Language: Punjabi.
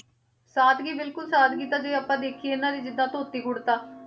ਸਾਦਗੀ ਬਿਲਕੁਲ ਸਾਦਗੀ ਤਾਂ ਜੇ ਆਪਾਂ ਦੇਖੀਏ ਇਹਨਾਂ ਦੇ ਜਿੱਦਾਂ ਧੋਤੀ ਕੁੜਤਾ,